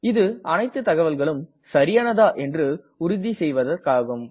இது அனைத்து தகவல்களும் சரியானதா என்று உறுதி செய்வதற்காகும்